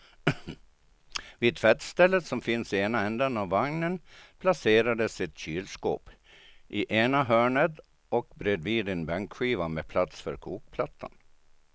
Vid tvättstället som finns i ena ändan av vagnen placerades ett kylskåp i ena hörnet och bredvid en bänkskiva med plats för kokplattan.